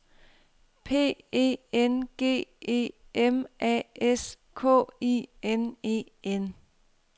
P E N G E M A S K I N E N